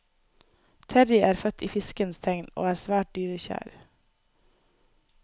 Terrie er født i fiskens tegn og er svært dyrekjær.